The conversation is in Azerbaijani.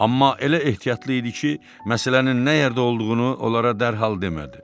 Amma elə ehtiyatlı idi ki, məsələnin nə yerdə olduğunu onlara dərhal demədi.